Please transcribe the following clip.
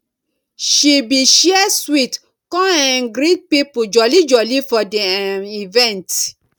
she bi share sweet con um greet people jolly jolly for di um event